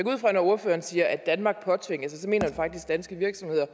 ud fra at når ordføreren siger at danmark påtvinges det så mener han faktisk danske virksomheder